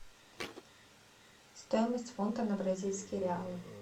стоимость фунта на бразильские реалы